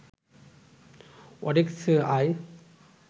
ওডেস্কে আয়